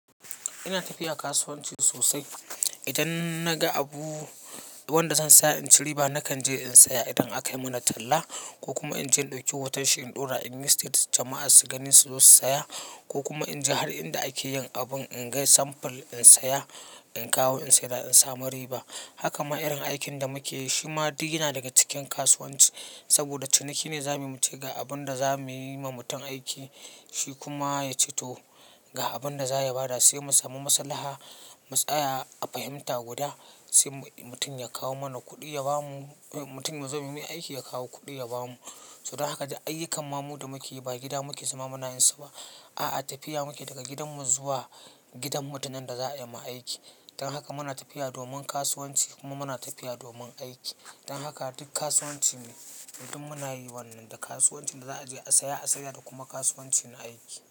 Ina tafiya kasuwanci sosai. Idan naga abu wanda zan saya in ci riba nakan je in saya. Idan akai mana talla ko kuma in je in ɗauki hoton shi, in ɗora inyi status jama'a su gani su zo su saya ko kuma in je har inda ake yin abin in ga samfol in saya, in kawo in saida in samu riba. Haka ma irin aikin da muke yi shi ma duk yana daga cikin kasuwanci. Saboda ciniki ne za mu yi muce ga abin da za mu yi wa mutum aiki. Shi kuma ya ce to ga abin da za ya bada. Sai mu samu maslaha, mu tsaya a fahimta guda sai mutum ya kawo mana kuɗi ya ba mu, mutum yazo mu yi mai aiki ya kawo kuɗi ya ba mu. To dan haka duk ayyukan mamudu muke yi ba gida muke zama muke yin su ba. A'a, tafiya muke daga gidanmu zuwa gidan mutanen da za a yi ma aiki. Dan haka muna tafiya domin kasuwanci kuma muna tafiya domin aiki. Dan haka duk kasuwanci ne. Duk munayi wannan da kasuwanci da za'a je a siya a saida da kuma kasuwanci na aiki.